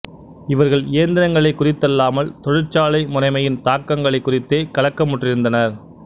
இவர்கள் இயந்திரங்களைக் குறித்தல்லாமல் தொழிற்சாலை முறைமையின் தாக்கங்களைக் குறித்தே கலக்கமுற்றிருந்தனர்